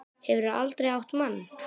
Hefurðu aldrei átt mann?